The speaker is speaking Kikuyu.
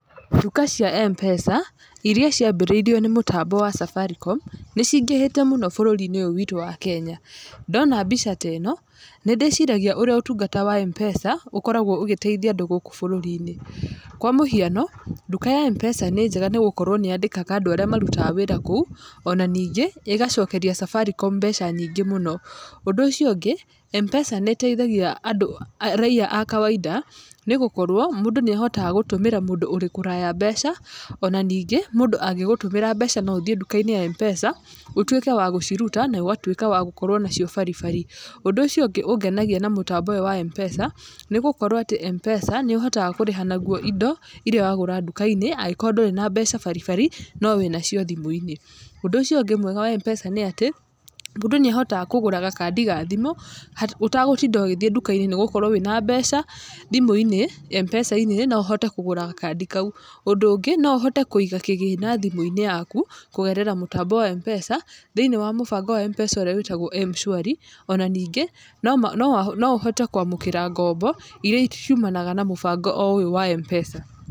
Nduka cia Mpesa iria cĩambĩrĩirio nĩ mũtambo wa safaricom nĩcingĩhĩte mũno bũrũri-inĩ ũyũ witu wa Kenya. Ndona mbica teno, nĩndĩciragia ũrĩa ũtungata wa Mpesa ũkoragwo ũgĩteithia andũ gũũkũ bũrũri-inĩ. Kwa mũhiano, nduka ya Mpesa nĩ njega nĩgũkorwo nĩyandĩkaga andũ arĩa marutaga wĩra kũu, ona ningĩ ĩgacokeria safaricom mbeca nyingĩ mũno. Ũndũ ũcio ũngĩ, Mpesa nĩiteithagia andũ raia a kawainda, nĩgũkorwo mũndũ nĩahotaga gũtũmĩra mũndũ ũri kũraya mbeca, ona ningĩ mũndũ angĩgũtũmĩra mbeca no ũthiĩ nduka-inĩ ya Mpesa ũtuĩke wa gũciruta na ũgatuĩka wa gũkorwo nacio baribari. Ũndũ ũcio ũngĩ, ũngenagia na mũtambo ũyũ wa mpesa nĩgũkorwo atĩ mpesa nĩũhotaga kũrĩha naguo indo iria wagũra nduka-inĩ angĩkorwo ndũrĩ na mbeca baribari no wĩnacio thimũ-inĩ. Ũndũ ũcio ũngĩ mwega wa Mpesa nĩ atĩ, mũndũ nĩahotaga kũgũra gakandi ga thimũ ũtagutinda ũgĩthiĩ nduka-inĩ, nĩgũkorwo wĩna mbeca thimũ-inĩ mpesa-inĩ noũhote kũgũra gakandi kau. Ũndũ ũngĩ no ũhote kũiga kĩgĩna thimũ-inĩ yaku kũgerera mũtambo-inĩ wa Mpesa thĩiniĩ wa mũbango wa Mpesa ũrĩa wĩtagwo mshwari, ona ningĩ noma no noũhote kwamũkĩra ngombo, iria ci ciumanaga na mũbango oro ũyũ wa Mpesa.